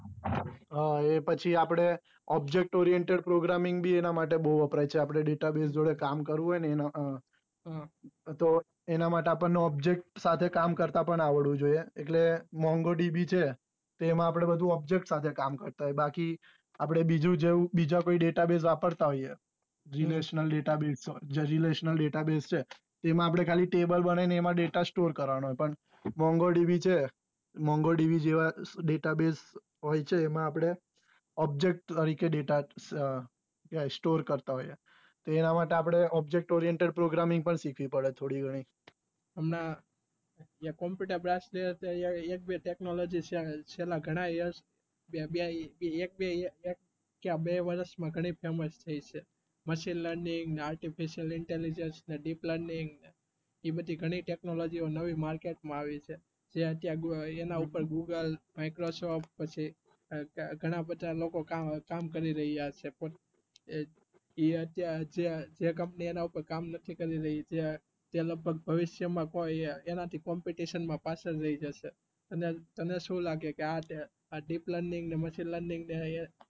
જે કંપની એના ઉપર કામ નક્કી કરી રહી તે લઘ ભગ ભવિષ્ય મા કો એ એના થી competition મા પાછળ રહી જશે અને તને સુ લાગે કે આ deep learning ને machin learning